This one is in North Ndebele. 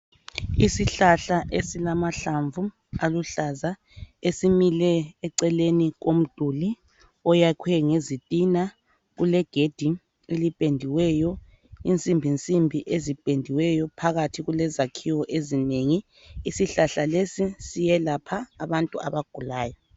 Isihlahla esilamahlamvu aluhlaza, esimile eceleni komduli oyakhwe ngezitina. Kulegedi elipendiweyo, izinsimbinsimbi ezipendiweyo. Phakathi kule zakhiwo ezinengi. Isihlahla lesi siyelapha abantu abagulayo.